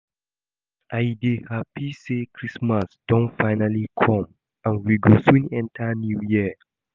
I dey happy say christmas don finally come and we go soon enter new year